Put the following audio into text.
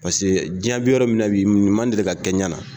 Paseke diɲɛ bi yɔrɔ min na bi, nin ma deli ka kɛ n yana